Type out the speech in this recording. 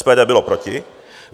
SPD bylo proti.